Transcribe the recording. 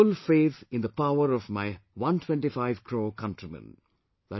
I have full faith in the power of my 125 crore countrymen